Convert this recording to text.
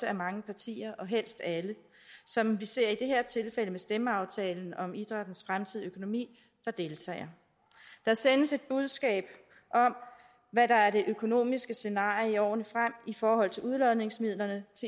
er mange partier og helst alle som vi ser i det her tilfælde med stemmeaftalen om idrættens fremtidige økonomi der deltager der sendes et budskab om hvad der er det økonomiske scenarie i årene frem i forhold til udlodningsmidlerne